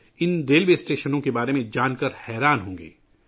ان railway اسٹیشنوں کے بارے میں جان کر آپ بھی حیران رہ جائیں گے